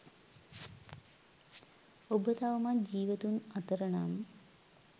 ඔබ තවමත් ජීවතුන් අතර නම්